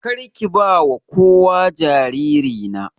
Karki bawa kowa jariri na.